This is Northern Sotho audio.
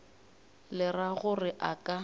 le ra gore a ka